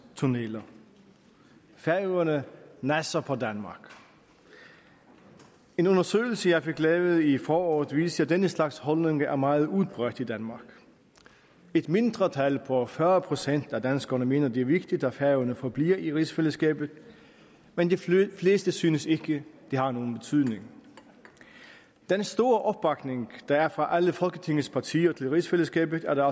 tunneller færøerne nasser på danmark en undersøgelse jeg fik lavet i foråret viste at denne slags holdninger er meget udbredt i danmark et mindretal på fyrre procent af danskerne mener at det er vigtigt at færøerne forbliver i rigsfællesskabet men de fleste synes ikke det har nogen betydning den store opbakning der er fra alle folketingets partier til rigsfællesskabet